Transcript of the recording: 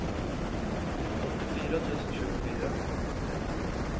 åttiofyra tusen tjugofyra